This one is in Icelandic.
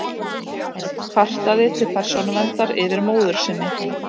Kvartaði til Persónuverndar yfir móður sinni